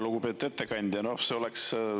Lugupeetud ettekandja!